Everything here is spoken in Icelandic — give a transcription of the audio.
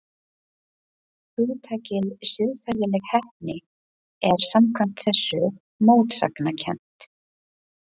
Hugtakið siðferðileg heppni er samkvæmt þessu mótsagnakennt.